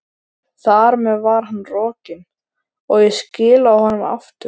Þar með var hann rokinn, og ég skilaði honum aftur.